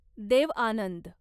Dev Anand